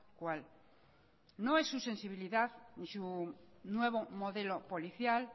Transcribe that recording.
cual no es su sensibilidad ni su nuevo modelo policial